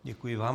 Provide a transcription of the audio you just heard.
Děkuji vám.